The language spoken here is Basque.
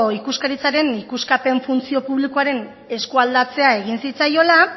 ikuskaritzaren ikuskapen funtzio publikoaren eskualdatzea egin zitzaiola